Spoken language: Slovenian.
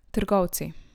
Trgovci.